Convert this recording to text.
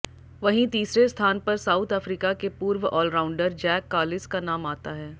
वहीं तीसरे स्थान पर साउथ अफ्रीका के पूर्व ऑलराउंडर जैक कालिस का नाम आता है